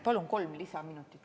Palun kolm lisaminutit.